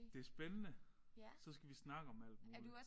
Det spændende så skal vi snakke om alt muligt